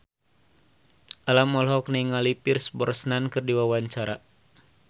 Alam olohok ningali Pierce Brosnan keur diwawancara